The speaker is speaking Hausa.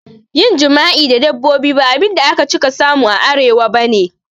Yin jima'i da dabbobi ba abinda aka cika samu a Arewa bane